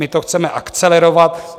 My to chceme akcelerovat.